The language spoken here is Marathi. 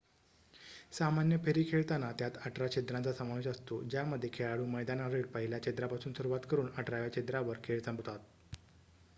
सामान्य फेरी खेळताना त्यात अठरा छिद्रांचा समावेश असतो ज्यामध्ये खेळाडू मैदानावरील पहिल्या छिद्रापासून सुरुवात करून अठराव्या छिद्रावर खेळ संपवतात